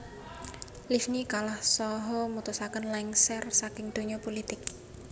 Livni kalah saha mutusaken lengser saking donya pulitik